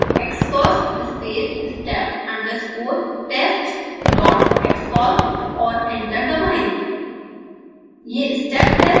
फिर टाइप करें: xcos space step underscore test dot xcos और एंटर दबाएँ